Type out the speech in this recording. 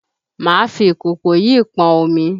Máa fi ìkòkò yìí pọn omi!